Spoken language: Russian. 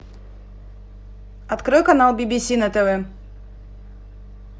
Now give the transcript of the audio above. открой канал би би си на тв